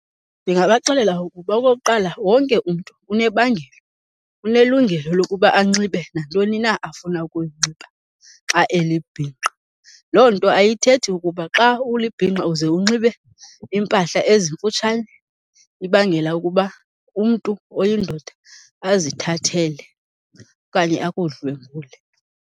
Ndingabaxelela ukuba okokuqala wonke umntu unebangelo, unelungelo lokuba anxibe nantoni na afuna ukuyinxiba xa elibhinqa. Loo nto ayithethi ukuba xa ulibhinqa uze unxibe iimpahla ezimfutshane ibangela ukuba umntu oyindoda azithathele okanye akudlwengule.